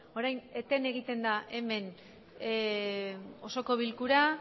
orain eten egiten da hemen osoko bilkura